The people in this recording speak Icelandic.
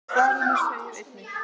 Í svarinu segir einnig